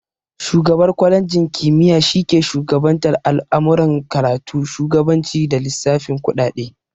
Shugabar kwalenji kimiya shi ke shugabantar al'amuran karatu, shugabanci, da lissafin kuɗaɗe